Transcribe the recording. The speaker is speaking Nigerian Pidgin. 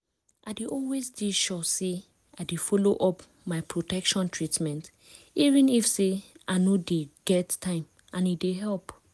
i dey always de sure say i dey follow up my protection treatment even if say i no dey get time and e dey help